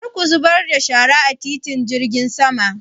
Kar ku zubar da shara a titin jirgin sama!